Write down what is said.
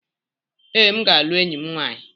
Ee, m ga-alụ enyi m nwanyị.